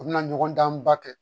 U bɛna ɲɔgɔndanba kɛ